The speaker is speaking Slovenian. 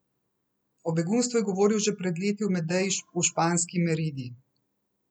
O begunstvu je govoril že pred leti v Medeji v španski Meridi.